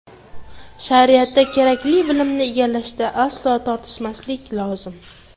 Shariatda kerakli bilimni egallashda aslo tortinmaslik lozim.